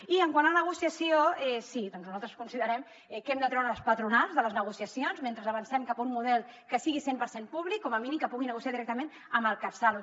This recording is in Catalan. i quant a negociació sí doncs nosaltres considerem que hem de treure les patronals de les negociacions mentre avancem cap a un model que sigui cent per cent públic com a mínim que puguin negociar directament amb el catsalut